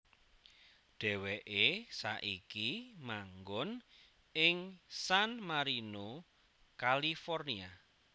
Dheweke saiki manggon ing San Marino California